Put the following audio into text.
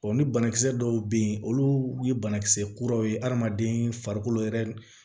ni banakisɛ dɔw bɛ yen olu ye banakisɛ kuraw ye adamaden farikolo yɛrɛ